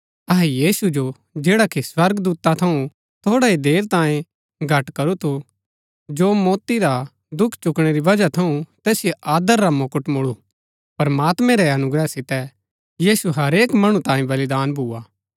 अहै यीशु जो जैडा कि स्वर्गदूता थऊँ थोड़ा ही देर तांये घट करू थू जो मौती रा दुख चुकणै री बजहा थऊँ तैसिओ आदर रा मुकुट मुळु प्रमात्मैं रै अनुग्रह सितै यीशु हरेक मणु तांई बलिदान भुआ